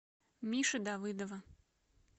миши давыдова